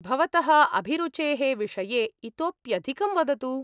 भवतः अभिरुचेः विषये इतोऽप्यधिकं वदतु।